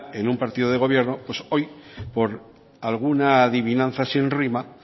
en un partido de gobierno pues hoy por alguna adivinanza sin rima